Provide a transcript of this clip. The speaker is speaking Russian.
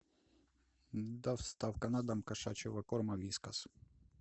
доставка на дом кошачьего корма вискас